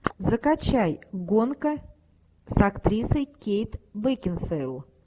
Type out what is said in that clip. закачай гонка с актрисой кейт бекинсейл